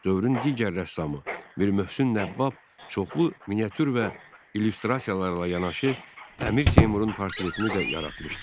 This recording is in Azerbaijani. Dövrün digər rəssamı Mir Möhsün Nəvvab çoxlu miniatür və illüstrasiyalarla yanaşı Əmir Teymurun portretini də yaratmışdı.